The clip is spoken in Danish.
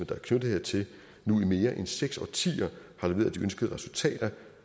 der er knyttet hertil nu i mere end seks årtier har leveret de ønskede resultater